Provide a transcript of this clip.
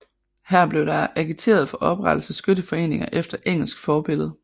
Her blev der agiteret for oprettelse af skytteforeninger efter engelsk forbillede